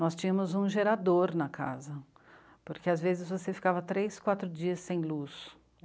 Nós tínhamos um gerador na casa, porque às vezes você ficava três, quatro dias sem luz.